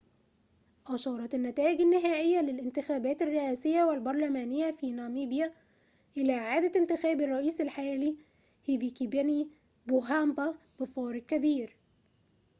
أشارت النتائج النهائية للانتخابات الرئاسية والبرلمانية في ناميبيا إلى إعادة انتخاب الرئيس الحالي هيفيكيبنيي بوهامبا بفارق كبير